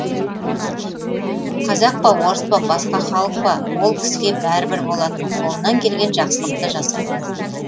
қазақ па орыс па басқа халық па ол кісіге бәрібір болатын қолынан келген жақсылықты жасайтын